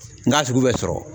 N'a sugu bɛ sɔrɔ